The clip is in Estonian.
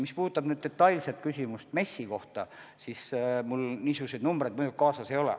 Mis puudutab nüüd konkreetset küsimust MES-i kohta, siis mul niisuguseid numbreid kaasas ei ole.